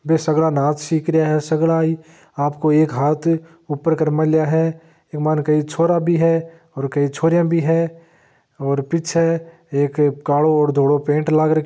बे सगला नाच सिख रिया है सगला ही आपको एक हाथ ऊपर कर मेल्या है इक मायने कई छोरा भी है और कई छोरिया भी है और पीछे एक कालो और धोलो पेंट लाग --